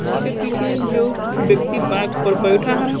उसके पीछे जो व्यक्ति बाघ पर बैठा है।